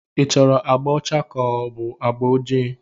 Ị chọrọ agbà ọcha ka ọ bụ agba ojii?